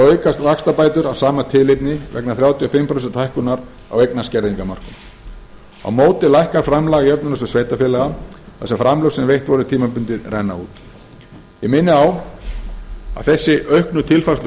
aukast vaxtabætur af sama tilefni vegna þrjátíu og fimm prósenta hækkunar á eignaskerðingarmörkum á móti lækkar framlag í jöfnunarsjóð sveitarfélaga þar sem framlög sem veitt voru tímabundið renna út ég minni á að þessi auknu tilfærsluútgjöld